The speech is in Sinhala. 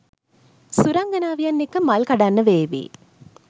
සුරංගනාවියන් එක්ක මල් කඩන්න වේවි.